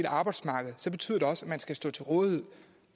arbejdsmarkedet betyder det også at man skal stå til rådighed